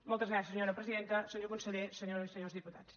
moltes gràcies senyora presidenta senyor conseller senyores i senyors diputats